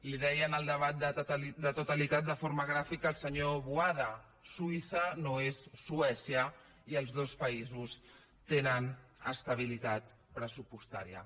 li deia en el debat de totalitat de forma gràfica el senyor boada suïssa no és suècia i els dos països tenen estabilitat pressupostària